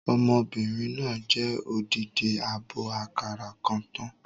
Ọmọbìnrin náà jẹ odidi àbọ̀ àkàrà kan tán